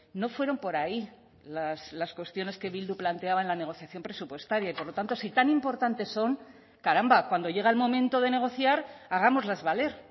no fueron por ahí las cuestiones que bildu planteaba en la negociación presupuestaria y por lo tanto si tan importantes son caramba cuando llega el momento de negociar hagámoslas valer